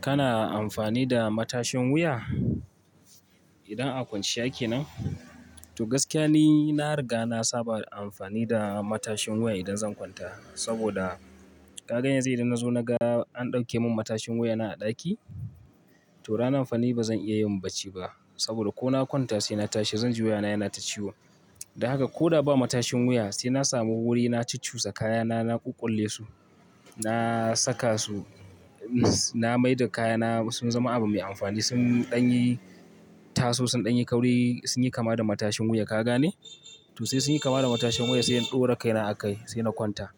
Kana amfani da matashin wuya? Idan akwance yake nan? To gaskiya ne, na riga na saba da amfani da matashin wuya idan zan kwanta. Saboda ka gan yanzu idan na zo na ga an ɗauke mun matashin wuya na a ɗaki, to ranan fa ni ba zan iya yin bacci ba. Saboda ko na kwanta sai na tashi zan ji wuyana yana ta ciwo. Da haka ko da ba matashin wuya sai na sami wuri na ci cusa kayana, na ƙuƙƙule su, na saka su, na mai da kayana sun zama abu mai amfani. Sun ɗanyi taso, sun ɗanyi kauri, sun yi kama da matashin wuya ka gane? To sai sun yi kama da matashin wuya sai in ɗaura kaina a kai sai na kwanta.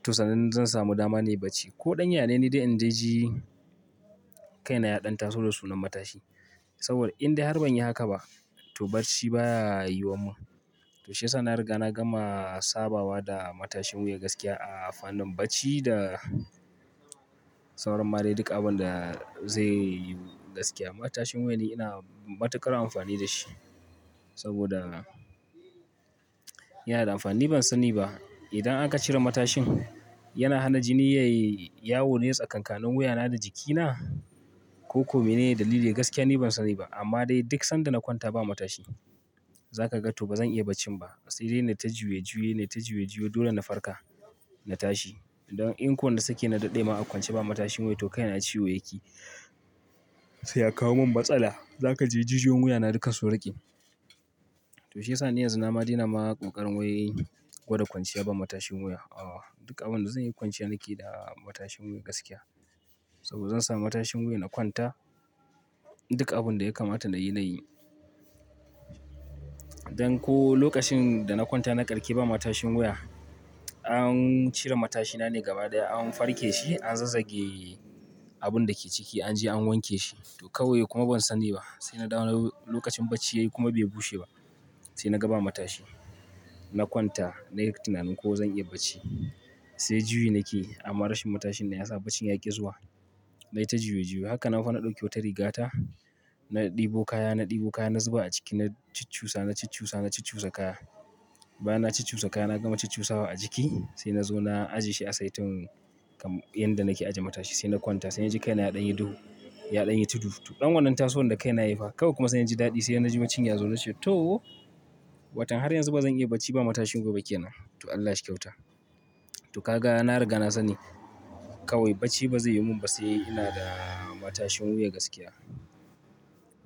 To sannan zan samu dama nayi bacci. Ko ɗan yana ne dai ina ji kaina ya ɗanta taso da sunan matashi. Saboda in dai har ban yi haka ba to bacci baya yiwuwa mun. To shiyasa na riga na gama sabawa da matashin wuya gaskiya a fannin bacci da sauran ma dai duk abun da zai yi gaskiya. Matashin wuya ni ina matuƙar amfani da shi saboda yana da amfani ban sani ba. Idan aka cire matashin yana hana jini yayi yawo ne tsakankanin wuyana da jikina? Ko kome ne dalili? Gaskiya ni ban sani ba. Amma dai duk sanda na kwanta ba matashi, za ka ga to ba zan iya bacci ba. Sai dai na yi ta juya juya, na yi ta juya juya, dole na farka na tashi. Idan in ko na sake na daɗe ma an kwance ba matashin wuya to kaina ciwo yake. Sai ya kawo mun matsala. Za ka ji jijiyon wuyana duka su ruƙi. To shiyasa ni yanzu na ma dena ma ƙoƙarin wai gwada kwanciya ba matashin wuya. Aa duk abin da zan yi kwance nake da matashin wuya gaskiya. Saboda zan samu matashin wuya na kwanta. Duk abin da ya kamata na yi, na yi. Dan ko lokacin da na kwanta na ƙarke ba matashin wuya, an cire matashina ne gaba ɗaya. An farke shi, an zazzage abun dake ciki an je an wanke shi. To kawai kuma ban sani ba. Sai na dawo lokacin bacci ya yi kuma bai bushe ba sai na ga ba matashi. Na kwanta nayi tunanin ko zan iya bacci. Sai juyi nake amma rashin matashin ne ya sa bacci ya ƙi zuwa. Na yi ta juya juya. Haka nan fa na ɗauki wata rigata, na ɗebo kaya, na ɗebo kaya, na zuba a ciki, na ci cusa, na ci cusa, na ci cusa kaya. Bana ci cusa kaya na gama ci cusawa a jiki sai na zo na ajiye shi a saitin inda nake ajiye matashi. Sai na kwanta sai yaji kaina ya ɗanyi duhu, ya ɗanyi tudu. To ɗan wannan taso ne da kaina ya yi fa. Kawai kuma sai na ji daɗi sai na ji bacci ya zo na ce to! Watan har yanzu ba zan iya bacci ba matashin wuya ba ke nan. To Allah shi kyauta. To ka ga na riga na sani kawai bacci ba zai yi mun ba sai ina da matashin wuya gaskiya.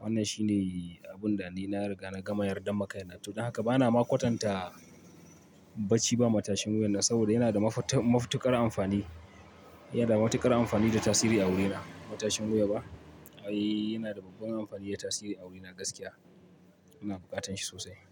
Wannan shine abun da ni na riga na gama yarda ma kaina. To don haka ba na ma kwatanta bacci ba matashin wuyana saboda yana da mafita-matuƙar amfani. Yana da matuƙar amfani da tasiri a wurina. Matashin wuya ba? Ai yana da babban amfani da tasiri a wurina gaskiya. Ina buƙatan shi sosai.